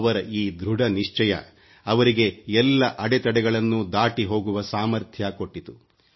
ಅವರ ಧೃಢ ನಿಶ್ಚಯ ಅವರಿಗೆ ಎಲ್ಲ ಅಡೆತಡೆ ಗಳನ್ನೂ ದಾಟಿ ಹೋಗುವ ಸಾಮರ್ಥ ಕೊಟ್ಟಿತು